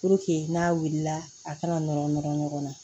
Puruke n'a wulila a kana nɔrɔ nɔrɔ ɲɔgɔn na